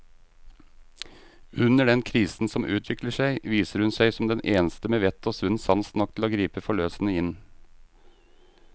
Under den krisen som utvikler seg, viser hun seg som den eneste med vett og sunn sans nok til å gripe forløsende inn.